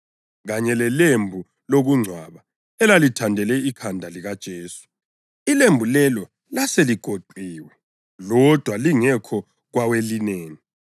kanye lelembu lokungcwaba elalithandele ikhanda likaJesu. Ilembu lelo laseligoqiwe lodwa lingekho kwawelineni.